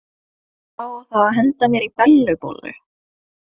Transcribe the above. Já, og það á að henda mér í Bellu bollu.